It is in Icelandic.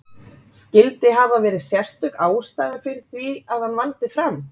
Skyldi hafa verið sérstök ástæða fyrir því að hann valdi Fram?